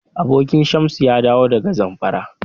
Abokin Shamsu ya dawo daga Zamfara.